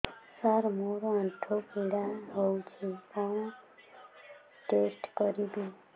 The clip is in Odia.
ସାର ମୋର ଆଣ୍ଠୁ ପୀଡା ହଉଚି କଣ ଟେଷ୍ଟ କରିବି